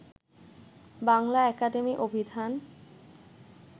Bangla Academy অভিধান